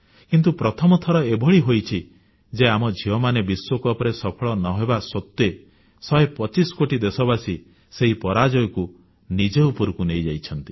କିନ୍ତୁ ପ୍ରଥମ ଥର ଏଭଳି ହୋଇଛି ଯେ ଆମ ଝିଅମାନେ ବିଶ୍ୱକପରେ ସଫଳ ନ ହେବା ସତ୍ତ୍ୱେ ଶହେ ପଚିଶ କୋଟି ଦେଶବାସୀ ସେହି ପରାଜୟକୁ ନିଜ ଉପରକୁ ନେଇଯାଇଛନ୍ତି